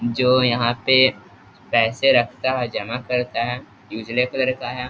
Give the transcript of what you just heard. जो यहाँ पे पैसे रखता है जमा करता है इ उजले कलर का है।